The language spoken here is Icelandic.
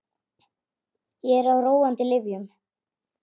Ég er á róandi lyfjum.